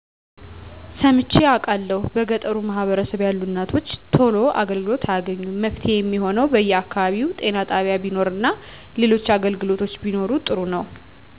ሰምቸ አቃለሁ በገጠሩ ማህበረሰብ ያሉ እናቶች ቶሎ አገልግሎት አያገኙም መፍትሄ የሚሆነው በየ አከባቢው ጤና ጣቢያ ቢኖር እና ሌሎች አገልግሎቶች ቢኖሩ ጥሩ ነው